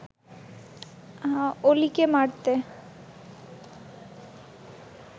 অলিকে মারতে